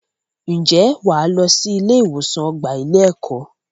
Ǹjẹ́ wà á lọ sí ilé-ìwòsàn ọgbà ilé-ẹ̀kọ́.